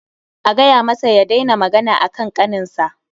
A gaya masa ya daina magana akan ƙaninsa